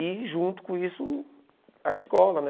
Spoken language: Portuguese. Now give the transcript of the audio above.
E junto com isso, a escola, né?